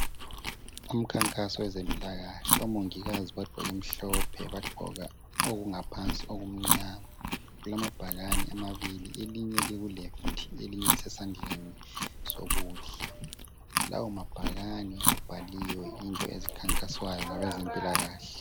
Umkhankaso wezempilakahle, omongikazi bagqoke mhlophe, bagqoka okungaphansi okumnyama. Kulamabhakani amabili, elinye likuleft, elinye lisesandleni sokudla. Lawa mabhakane abhaliwe into ezikhankaswayo ngabezempilakahle.